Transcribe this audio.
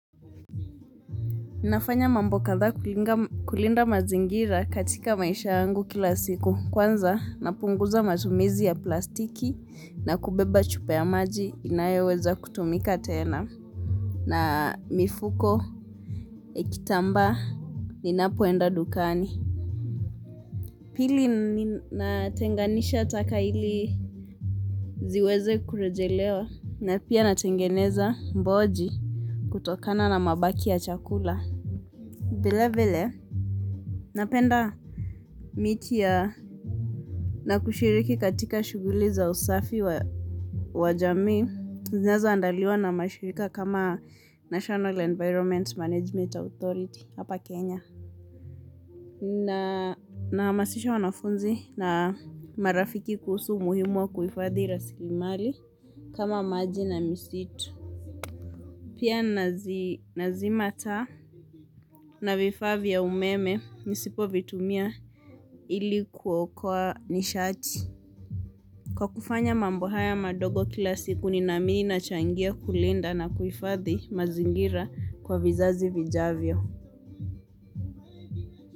Ninafanya mambo kadhaa kulinda mazingira katika maisha yangu kila siku. Kwanza napunguza matumizi ya plastiki na kubeba chupa ya maji inayoweza kutumika tena. Na mifuko, kitambaa, ninapoenda dukani. Pili natenganisha taka ili ziweze kurejelewa na pia natengeneza mboji kutokana na mabaki ya chakula. Vilevile napanda miti na kushiriki katika shughuli za usafi wa jamii zinazoandaliwa na mashirika kama National Environment Management Authority hapa Kenya. Nahamasisha wanafunzi na marafiki kuhusu umuhimu wa kuhifadhi rasilimali kama maji na misitu. Pia nazima taa na vifaa vya umeme nisipo vitumia ili kuokoa nishati. Kwa kufanya mambo haya madogo kila siku ninaamini nachangia kulinda na kuhifadhi mazingira kwa vizazi vijavyo.